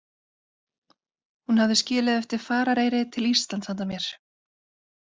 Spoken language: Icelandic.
Hún hafði skilið eftir farareyri til Íslands handa mér.